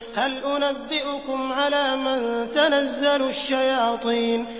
هَلْ أُنَبِّئُكُمْ عَلَىٰ مَن تَنَزَّلُ الشَّيَاطِينُ